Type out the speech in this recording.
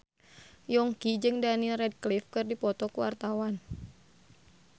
Yongki jeung Daniel Radcliffe keur dipoto ku wartawan